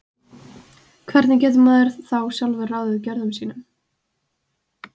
Hvernig getur maður þá sjálfur ráðið gjörðum sínum?